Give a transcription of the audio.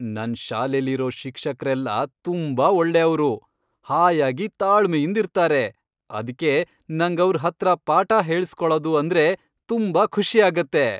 ನನ್ ಶಾಲೆಲಿರೋ ಶಿಕ್ಷಕ್ರೆಲ್ಲ ತುಂಬಾ ಒಳ್ಳೆಯವ್ರು, ಹಾಯಾಗಿ ತಾಳ್ಮೆಯಿಂದಿರ್ತಾರೆ, ಅದ್ಕೆ ನಂಗವ್ರ್ ಹತ್ರ ಪಾಠ ಹೇಳುಸ್ಕೊಳದು ಅಂದ್ರೆ ತುಂಬಾ ಖುಷಿ ಆಗತ್ತೆ.